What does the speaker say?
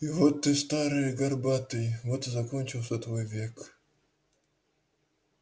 и вот ты старый и горбатый вот и закончился твой век